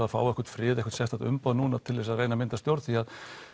að fá einhvern frið eða sérstakt umboð núna til að reyna að mynda stjórn því